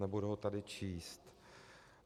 Nebudu ho tady číst.